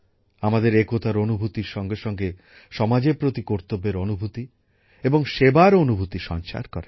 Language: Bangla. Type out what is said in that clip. আমাদের একতার অনুভূতির সঙ্গে সঙ্গে সমাজের প্রতি কর্তব্যের অনুভূতি এবং সেবার অনুভূতি সঞ্চার করে